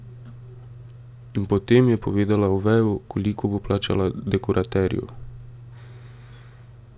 In potem je povedala Oveju, koliko bo plačala dekoraterju.